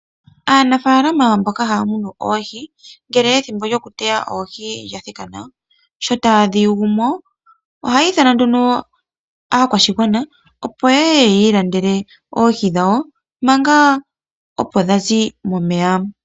Aanafalama mboka haya munu oohi ngele ethimbo lyokuteya oohi lyathiki sho taadhi yugumo ohaya ithana aakwashigwana opo ya ilandele oohi dhawo manga opo dhazi momeya.